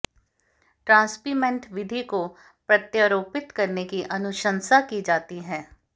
ट्रांस्पिमेंट विधि को प्रत्यारोपित करने की अनुशंसा की जाती है